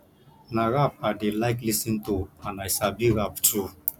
na rap i dey like lis ten to and i sabi rap too